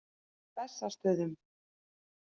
Bessastöðum